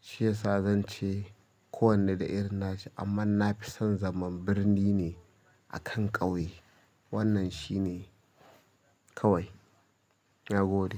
Shi yasa zan ce kowane da irin nashi amma na fi son zaman birni ne akan ƙauye. Wannan shine kawai. Na gode.